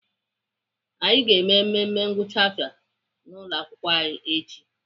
Anyị ga-eme mmemme ngwụcha afọ n'ụlọakwụkwọ anyị echi.